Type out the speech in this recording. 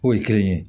Foyi kelen ye